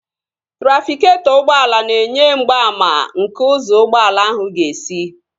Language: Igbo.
Trafịketọ ụgbọala na-enye mgbaàmà nke ụzọ ụgbọala ahụ ga-esi